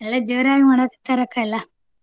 ಎಲ್ಲಾ ಜೋರಾಗಿ ಮಾಡಾಕ್ಕತ್ತಾರ ಅಕ್ಕಾ ಎಲ್ಲಾ.